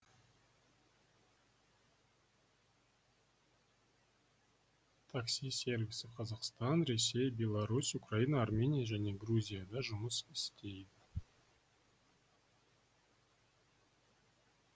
такси сервисі қазақстан ресей беларусь украина армения және грузияда жұмыс істейді